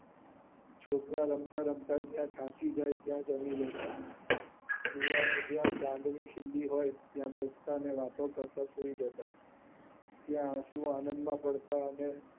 છોકરા રમતા રમતા જ્યાં થાકી જાય ત્યાં જમી લેતા જુવાનો જ્યાં ચાંદની ખીલી હોય ત્યાં બેસતા ને વાતો કરતા સુઈ જતા ત્યાં આંસુ આનંદ માં ભળતા ને